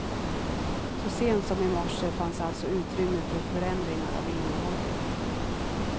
Så sent som i morse fanns alltså utrymme för förändringar av innehållet.